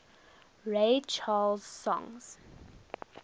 ray charles songs